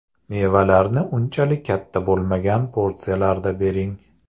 Mevalarni unchalik katta bo‘lmagan porsiyalarda bering.